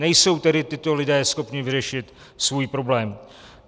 Nejsou tedy tito lidé schopni vyřešit svůj problém.